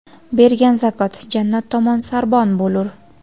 bergan zakot jannat tomon sarbon bo‘lur.